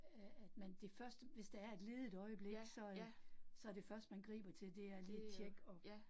Øh øh at man det første, hvis der er et ledigt øjeblik, så øh så det første man griber til, det er lige tjekke at